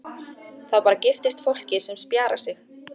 Það bara giftist fólki sem spjarar sig.